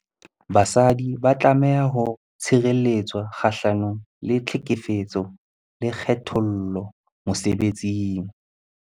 Basadi ba tlameha ho tshireletswa kgahlano le tlhekefetso le kgethollo mosebetsing.